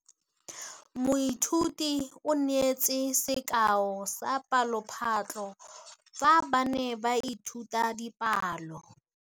Moithuti o neetse sekaô sa palophatlo fa ba ne ba ithuta dipalo.